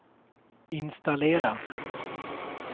installera